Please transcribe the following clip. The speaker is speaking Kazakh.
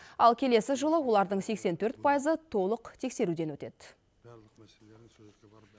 ал келесі жылы олардың сексен төрт пайызы толық тексеруден өтеді